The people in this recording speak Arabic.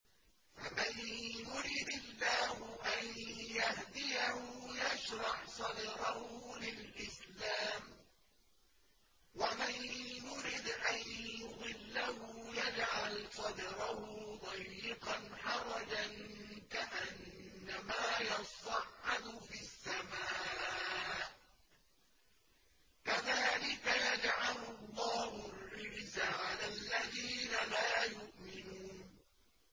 فَمَن يُرِدِ اللَّهُ أَن يَهْدِيَهُ يَشْرَحْ صَدْرَهُ لِلْإِسْلَامِ ۖ وَمَن يُرِدْ أَن يُضِلَّهُ يَجْعَلْ صَدْرَهُ ضَيِّقًا حَرَجًا كَأَنَّمَا يَصَّعَّدُ فِي السَّمَاءِ ۚ كَذَٰلِكَ يَجْعَلُ اللَّهُ الرِّجْسَ عَلَى الَّذِينَ لَا يُؤْمِنُونَ